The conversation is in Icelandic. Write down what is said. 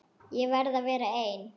Ég verð að vera ein.